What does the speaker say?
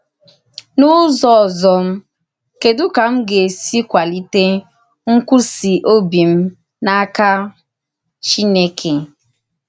N’ụ́zọ òzò, kèdù ka m gà-èsì kwàlítè nkwụsì òbì m n’áka Chìnèkè?